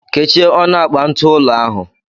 Kechie ọnụ akpa ntụụlọ ahụ!